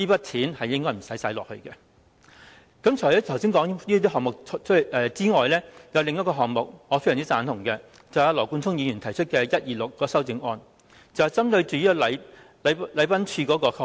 除了剛才提到的項目外，有另一個項目，我是非常贊同的，便是羅冠聰議員提出的編號126修正案，這項修正案針對禮賓處的開支。